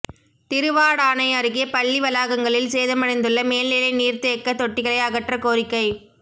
திருவாடானை அருகே பள்ளி வளாகங்களில் சேதமடைந்துள்ள மேல்நிலை நீா்த்தேக்க தொட்டிகளை அகற்றக் கோரிக்கை